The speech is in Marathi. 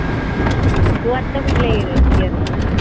तू आता कुटल्या year आहे?